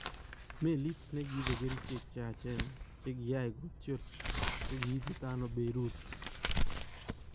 Meliit nekiibe kericheek cheyachen chekiyai kootyol kokiititano Beirut?